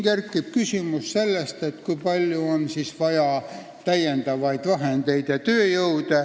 Tekib küsimus, kui palju on vaja täiendavaid vahendeid ja tööjõudu.